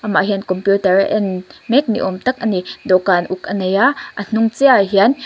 amah hian computer a en mek ni awm tak a ni dawhkan uk a nei a a hnung chiah ah hian--